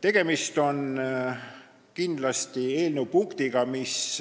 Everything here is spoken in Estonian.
Tegemist on kindlasti punktiga, mis